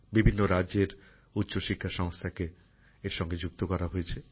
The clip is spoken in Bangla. বিভিন্ন রাজ্যের উচ্চশিক্ষা সংস্থাকে এর সঙ্গে যুক্ত করা হয়েছে